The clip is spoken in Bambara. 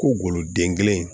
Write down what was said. Ko goloden kelen